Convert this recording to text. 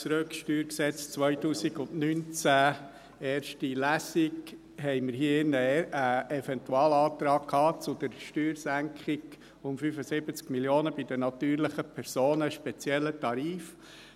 Wir hatten hier in diesem Saal einen Eventualantrag zur Steuersenkung um 75 Mio. bei den natürlichen Personen, spezieller Tarif.